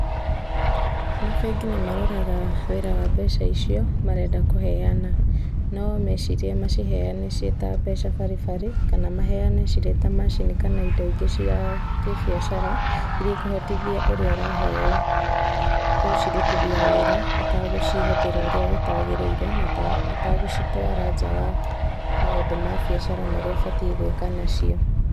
Mabengi nĩ maroraga wĩra wa mbeca icio marenda kũheana no mecirie maciheane ciĩ ta mbeca baribari kana maheane cirĩ ta macini kana indo ingĩ cia kĩbiacara iria ikũhotithia ũrĩa ũraheo gũcirutithia wĩra atagũcihũthĩra ũrĩa gũtagĩrĩire na atagũcitwara njaa wa maũndũ ma biacara marĩa abatĩe gũĩka nacĩo.